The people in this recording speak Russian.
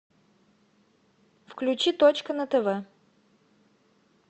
включи точка на тв